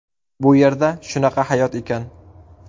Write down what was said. Bu yerda shunaqa hayot ekan.